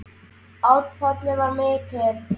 Áfallið var mikið.